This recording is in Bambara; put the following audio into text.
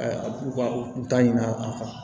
u ka u ta ɲin'a kan